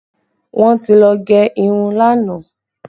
Wọn ti lọ gẹ irun lánàá